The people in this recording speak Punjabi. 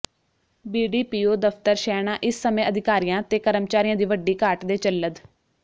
ਬੀਡੀਪੀਓ ਦਫ਼ਤਰ ਸ਼ਹਿਣਾ ਇਸ ਸਮੇਂ ਅਧਿਕਾਰੀਆਂ ਤੇ ਕਰਮਚਾਰੀਆਂ ਦੀ ਵੱਡੀ ਘਾਟ ਦੇ ਚੱਲਦ